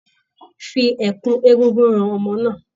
Fi ẹ̀kú egúngún han ọmọ náà